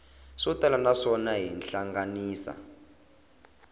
swo tala naswona xi hlanganisa